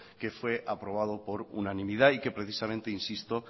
que fue aprobado por unanimidad y que precisamente insisto